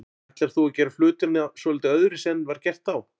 Ætlar þú að gera hlutina svolítið öðruvísi en var gert þá?